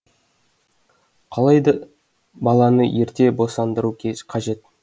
қалай да баланы ерте босандыру қажет